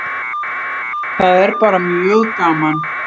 Það er bara mjög gaman.